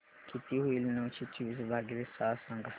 किती होईल नऊशे चोवीस भागीले सहा सांगा